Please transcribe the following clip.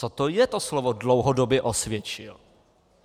Co to je, to slovo dlouhodobě osvědčil.